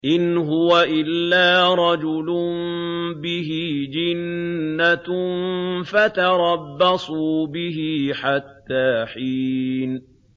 إِنْ هُوَ إِلَّا رَجُلٌ بِهِ جِنَّةٌ فَتَرَبَّصُوا بِهِ حَتَّىٰ حِينٍ